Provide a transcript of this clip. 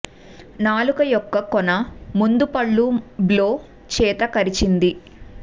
నాలుక యొక్క కొన ముందు పళ్ళు మరియు బ్లో చేత కరిచింది